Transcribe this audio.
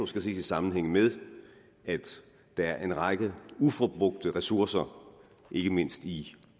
ses i sammenhæng med at der er en række uforbrugte ressourcer ikke mindst i